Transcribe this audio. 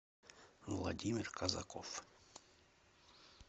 владимир казаков